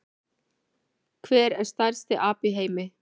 Hver er stærsti api í heimi?